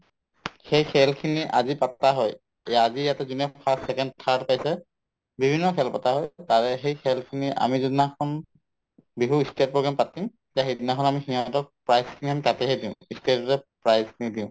সেই খেলখিনি আজি পাতা হয় এই আজি ইয়াতে যোনে first, second, third পাইছে বিভিন্ন খেল পাতা হয় তাৰে সেই খেলখিনিৰ আমি যোনদিনাখন বিহু ই stage program পাতিম তে সেইদিনাখন আমি সিহঁতক prize খিনি আমি তাতেহে দিম ই stage ত prize নিদিওঁ